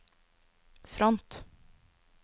front